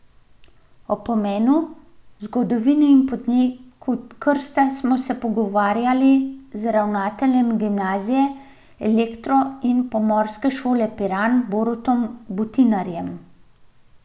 O pomenu, zgodovini in poteku krsta smo se pogovarjali z ravnateljem Gimnazije, elektro in pomorske šole Piran, Borutom Butinarjem.